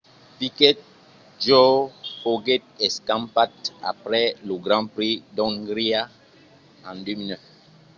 piquet jr. foguèt escampat après lo grand prix d'ongria en 2009